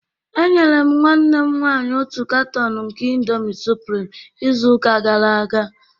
Enyere m nwanne m nwanyị otu canton nke Indomie supreme izu ụka gara aga